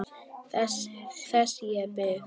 Þess ég bið.